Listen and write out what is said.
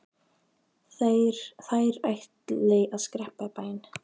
Þær ætli að skreppa í bæinn.